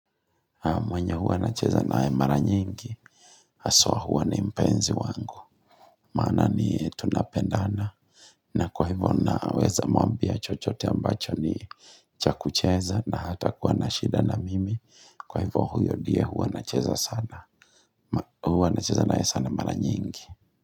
Mwenye huwa nacheza nae mara nyingi haswa huwa ni mpenzi wangu Maana ni tunapendana na kwa hivyo naweza mwambia chochote ambacho ni cha kucheza na hatakuwa na shida na mimi Kwa hivyo huyo diye huwa nacheza naye sana mara nyingi.